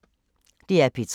DR P3